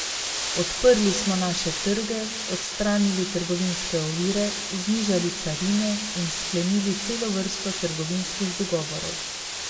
Odprli smo naše trge, odstranili trgovinske ovire, znižali carine in sklenili celo vrsto trgovinskih dogovorov.